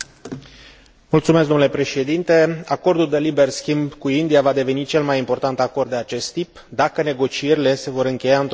Acordul de liber schimb cu India va deveni cel mai important acord de acest tip dacă negocierile se vor încheia într o manieră satisfăcătoare pentru ambele părți.